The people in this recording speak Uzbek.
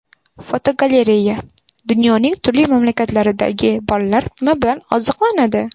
Fotogalereya: Dunyoning turli mamlakatlaridagi bolalar nima bilan oziqlanadi?.